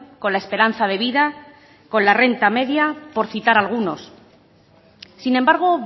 con la esperanza de vida y con la renta media por citar algunos sin embargo